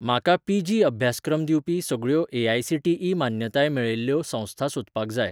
म्हाका पीजी अभ्यासक्रम दिवपी सगळ्यो ए.आय.सी.टी.ई. मान्यताय मेळयल्ल्यो संस्था सोदपाक जाय